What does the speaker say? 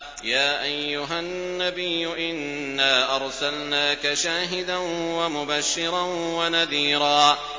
يَا أَيُّهَا النَّبِيُّ إِنَّا أَرْسَلْنَاكَ شَاهِدًا وَمُبَشِّرًا وَنَذِيرًا